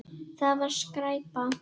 Það var skræpa.